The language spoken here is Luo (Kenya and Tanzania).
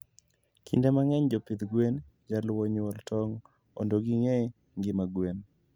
kinde mangeny jopidh gwen jaluo nyuol tong ondo gingee ngima gwen